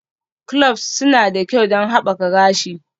Cloves suna da kyau don haɓaka gashi.